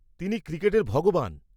-তিনি 'ক্রিকেটের ভগবান'।